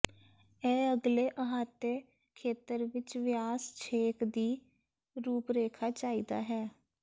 ਇਹ ਅਗਲੇ ਅਹਾਤੇ ਖੇਤਰ ਵਿੱਚ ਵਿਆਸ ਛੇਕ ਦੀ ਰੂਪਰੇਖਾ ਚਾਹੀਦਾ ਹੈ